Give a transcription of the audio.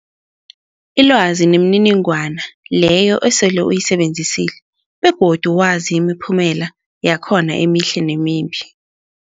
Ilwazi mniningwana leyo osele uyisebenzisile begodu wazi imiphumela yakhona emihle nemimbi.